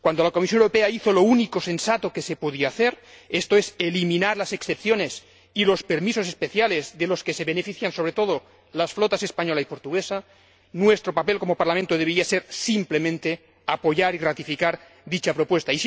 Cuando la Comisión Europea hizo lo único sensato que se podía hacer, esto es, eliminar las excepciones y los permisos especiales de los que se benefician, sobre todo, las flotas española y portuguesa, nuestro papel, como Parlamento, debería haber sido simplemente apoyar y gratificar dicha propuesta.